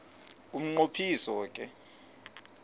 umnqo phiso ke